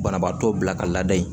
Banabaatɔ bila ka laada in